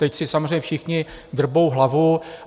Teď si samozřejmě všichni drbou hlavu.